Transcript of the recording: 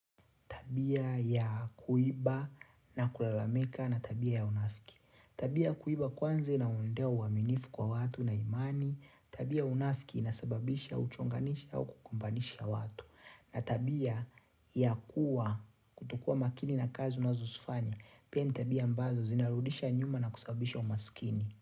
Tabia ya kuiba na kulalamika na tabia ya unafiki. Tabia ya kuiba kwanza inaondoa uaminifu kwa watu na imani. Tabia ya unafiki inasababisha uchonganishi au kukumbanisha watu. Na tabia ya kuwa kutokua makini na kazi unazosfanya. Pia ni tabia mbazo zinarudisha nyuma na kusababisha umaskini.